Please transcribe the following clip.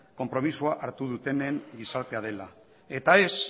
konpromisoa hartu dutenen gizartea dela